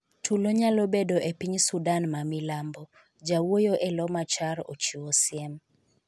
Tulo nyalo bedo e piny Sudan ma milambo, jawuoyo elo Machar ochiwo siem